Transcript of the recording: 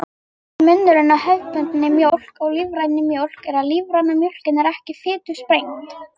Stærsti munurinn á hefðbundinni mjólk og lífrænni mjólk er að lífræna mjólkin er ekki fitusprengd.